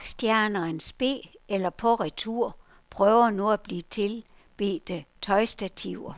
Rockstjerner in spe eller på retur prøver nu at blive tilbedte tøjstativer.